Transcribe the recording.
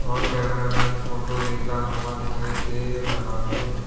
वहां cameraman photo लेता हुआ दिखाई दे रहा है।